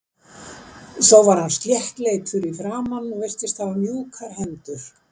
Þó var hann sléttleitur í framan og virtist hafa mjúkar hendur.